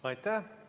Aitäh!